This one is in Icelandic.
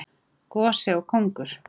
Gosi og kóngur.